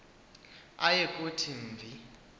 aye kuthi mvi